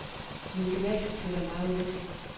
Min gymnasietid var meget ulykkelig.